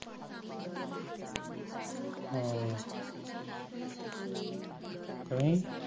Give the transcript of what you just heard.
ਕਿ ਨਹੀਂ